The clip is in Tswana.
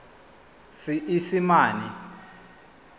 seesimane